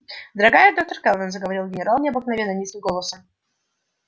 дорогая доктор кэлвин заговорил генерал необыкновенно низким голосом